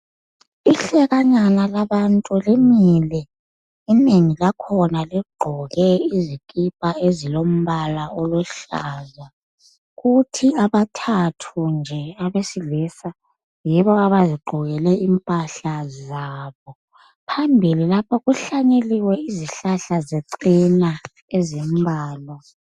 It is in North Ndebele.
Ihlekanyana labantu limile inengi lakhona ligqoke izikipa ezilombala oluhlaza kuthi abathathu nje abesilisa yibo abazigqokekele impahla zabo Phambili lapha kuhlanyeliwe izihlahla zechena ezimbalwa